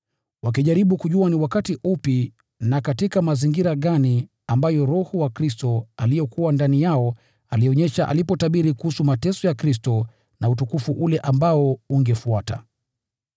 wakijaribu kujua ni wakati upi na katika mazingira gani ambayo Roho wa Kristo aliyekuwa ndani yao alionyesha, alipotabiri kuhusu mateso ya Kristo na utukufu ule ambao ungefuata.